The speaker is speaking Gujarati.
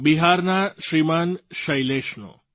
બિહારના શ્રીમાન શૈલેશનો